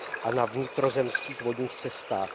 a na vnitrozemských vodních cestách.